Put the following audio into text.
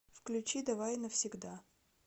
включи давай навсегда